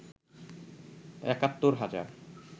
একাত্তর হাজার